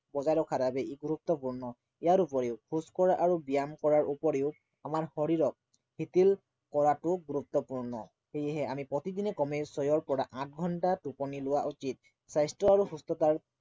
বজাই ৰখাৰ বাবে ই গুৰুত্বপূৰ্ণ ইয়াৰ উপৰিও খোজকঢ়া আৰু ব্য়ায়াম কৰাৰ উপৰিও আমাৰ শৰীৰক শিথিল কৰাটো গুৰুত্বপূৰ্ণ সেয়েহে আমি প্ৰতিদিনে কমে ছয়ৰ পৰা আঠ ঘন্টা টোপনি লোৱা উচিত স্বাস্থ্য় আৰু সুস্থতাৰ